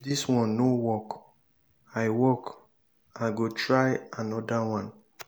since dis one no work i work i go try another one.